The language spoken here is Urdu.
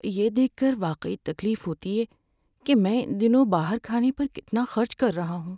یہ دیکھ کر واقعی تکلیف ہوتی ہے کہ میں ان دنوں باہر کھانے پر کتنا خرچ کر رہا ہوں۔